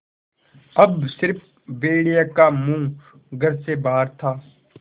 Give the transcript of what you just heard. अब स़िर्फ भेड़िए का मुँह घर से बाहर था